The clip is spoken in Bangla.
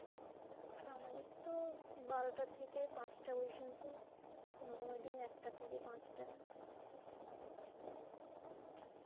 আমাদের তো বারোটা থেকে পাঁচটা পর্যন্ত, কোনো কোনদিন একটা থেকে পাঁচটা